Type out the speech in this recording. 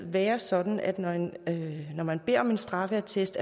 være sådan at når man beder om en straffeattest